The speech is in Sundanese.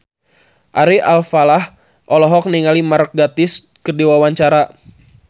Ari Alfalah olohok ningali Mark Gatiss keur diwawancara